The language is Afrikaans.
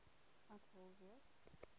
ek wel weet